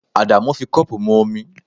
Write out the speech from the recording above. Adamu fi cup mu omi